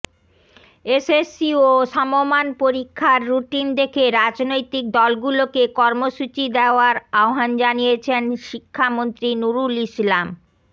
SSC ও সমমান পরীক্ষার রুটিন দেখে রাজনৈতিক দলগুলোকে কর্মসূচি দেওয়ার আহ্বান জানিয়েছেন শিক্ষামন্ত্রী নুরুল ইসলাম